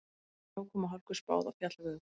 Snjókomu og hálku spáð á fjallvegum